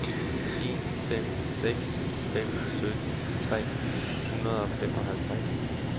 en fem seks fem sytten tre hundrede og femoghalvtreds